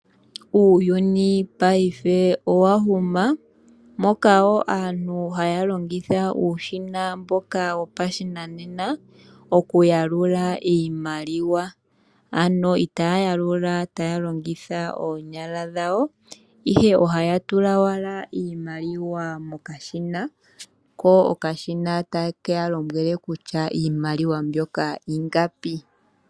Uuyuni paife owahuma moka wo aantu haya longitha uushina mboka wopashinanena okuyalula iimaliwa, ano itaya yalula taya longitha oonyala dhawo ihe ohaya tula owala iimaliwa mokashina ko okashina takeya lombwele kutya iimaliwa ingapi.